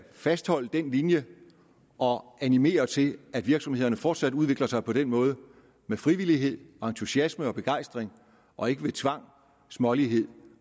fastholde den linje og animere til at virksomhederne fortsat udvikler sig på den måde med frivillighed entusiasme og begejstring og ikke ved tvang smålighed